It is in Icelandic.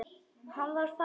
Hann var farinn að róast.